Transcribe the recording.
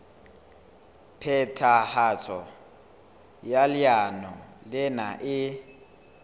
phethahatso ya leano lena e